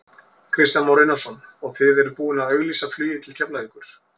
Kristján Már Unnarsson: Og þið eruð búinn að auglýsa flugið til Keflavíkur?